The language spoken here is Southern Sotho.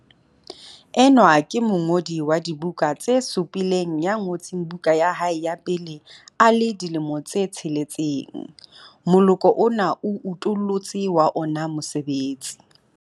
Enwa ke mongodi wa dibuka tse supileng ya ngotseng buka ya hae ya pele a le dilemo di 6. Moloko ona o utollotse wa ona mosebetsi.